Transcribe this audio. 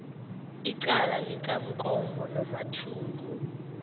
icala likamkombo nomathungu